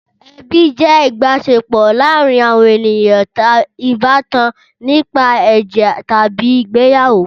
Ẹbi jẹ́ ìbáṣepọ̀ láàárin àwọn ènìyàn ìbátan nípa ẹ̀jẹ̀ tàbí ìgbéyàwó.